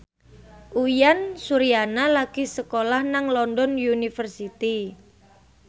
Uyan Suryana lagi sekolah nang London University